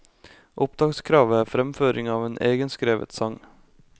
Opptakskravet er fremføring av en egenskrevet sang.